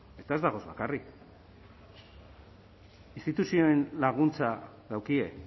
eta ez dagoz bakarrik instituzioen laguntza daukie